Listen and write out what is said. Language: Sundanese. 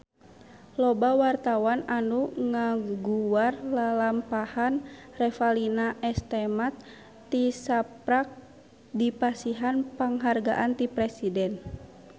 Loba wartawan anu ngaguar lalampahan Revalina S. Temat tisaprak dipasihan panghargaan ti Presiden